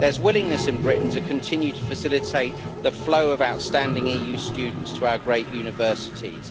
There is willingness in Britain to continue to facilitate the flow of outstanding EU students to our great universities.